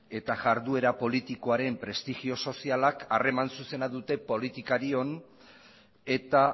eta iharduera politikoaren prestigio sozialak harreman zuzena dute politikarion eta